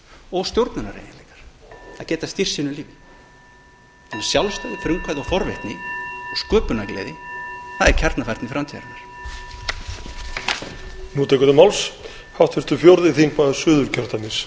og stjórnunar að geta stýrt sínu lífi með sjálfstæði frumkvæði og forvitni og sköpunargleði það er kjarnafærni framtíðarinnar